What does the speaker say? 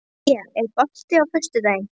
India, er bolti á föstudaginn?